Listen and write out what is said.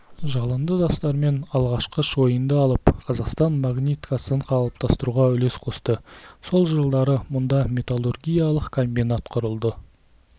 жалынды жастармен алғашқы шойынды алып қазақстан магниткасын қалыптастыруға үлес қосты сол жылдары мұнда металлургиялық комбинат құрылды